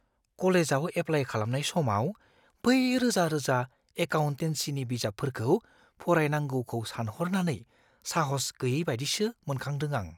कलेजआव एप्लाय खालामनाय समाव बै रोजा-रोजा एकाउन्टेनसिनि बिजाबफोरखौ फरायनांगौखौ सानहरनानै साहस गैयैबायदिसो मोनखादों आं।